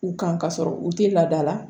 U kan ka sɔrɔ u tɛ laada la